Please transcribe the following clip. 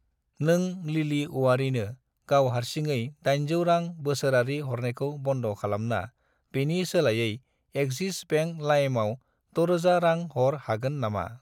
नों लिलि औवारिनो गाव हारसिङै 800 रां बोसोरारि हरनायखौ बन्द' खालामना बेनि सोलायै एक्सिस बेंक लाइमआव 6000 रां हर हागोन नामा?